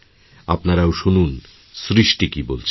আপনারাও শুনুন সৃষ্টি কী বলছেন